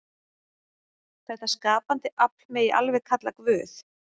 Þetta skapandi afl megi alveg kalla Guð.